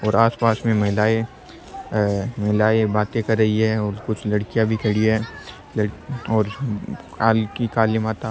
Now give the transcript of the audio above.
और आसपास में महिलाये अ महिलाएं बाते कर रही है और कुछ लड़कियां भी खड़ी है और कल की काली माता --